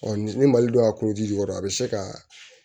Ɔ ni mali don a kɔnɔ ji kɔrɔ a bɛ se ka